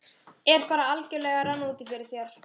Er bara algjörlega að renna út í fyrir þér?